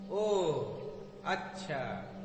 ओह, अच्छा।